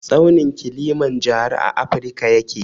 Tsaunin kilimanjaro a afirka yake.